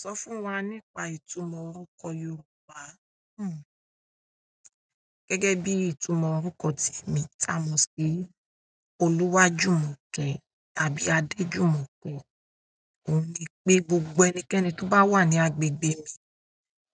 Sọ fún wa nípa ọkan yorùbá? Gẹ́gẹ́ bíi ìtumò orúkọ tèmi tí a mọ síi Oluwajumoke tàbí Adejumoke ohun ni pé gbogbo ẹnikẹni tó bá wà ní agbègbè mi